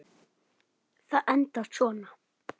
Það endar svona